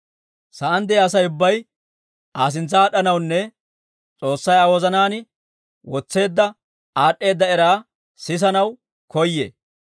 Sa'aan de'iyaa Asay ubbay Aa sintsa aad'd'anawunne S'oossay Aa wozanaan wotseedda aad'd'eeda era sisanaw koyee.